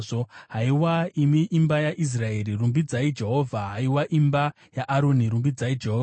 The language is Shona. Haiwa imi imba yaIsraeri, rumbidzai Jehovha; haiwa imba yaAroni, rumbidzai Jehovha;